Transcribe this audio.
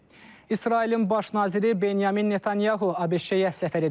İsrailin baş naziri Benyamin Netanyahu ABŞ-ə səfər edəcək.